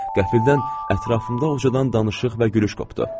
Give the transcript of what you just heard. Qəfildən ətrafımda ucadan danışıq və gülüş qopdu.